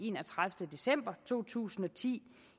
enogtredivete december to tusind og ti